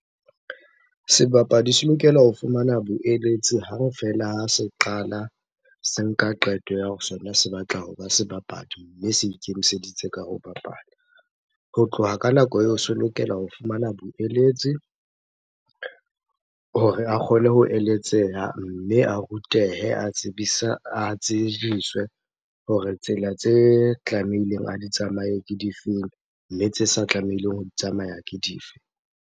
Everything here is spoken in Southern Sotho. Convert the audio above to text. Sebapadi se lokela ho fumana boeletsi hang fela ha se qala se nka qeto ya sona se batla hoba sebapadi, mme se ikemiseditse ka ho bapala. Ho tloha ka nako eo, se lokela ho fumana boeletsi hore a kgone ho eletseha mme a rutehe a tsejiswe hore tsela tse tlamehileng a di tsamaye ke difeng? Mme tse sa tlamehileng ho di tsamaya ke dife?